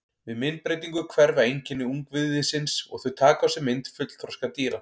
Við myndbreytingu hverfa einkenni ungviðisins og þau taka á sig mynd fullþroska dýra.